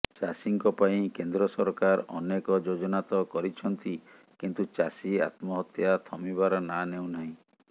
ଚାଷୀଙ୍କ ପାଇଁ କେନ୍ଦ୍ର ସରକାର ଅନେକ ଯୋଜନା ତ କରିଛନ୍ତି କିନ୍ତୁ ଚାଷୀ ଆତ୍ମହତ୍ୟା ଥମିବାର ନାଁ ନେଉନାହିଁ